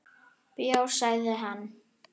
Bjór, sagði hann.